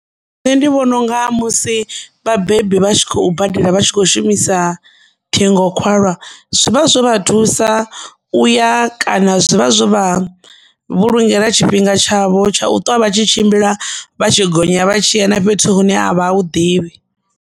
Nṋe ndi vhona unga musi vhabebi vha tshi khou badela vha tshi kho shumisa ṱhingokhalwa zwivha zwo vha thusa uya kana zwi vha zwo vha vhulungela tshifhinga tshavho tsha u ṱwa vha tshi tshimbila vha tshi gonya vha tshi ya na fhethu hune a vha hu ḓivhi.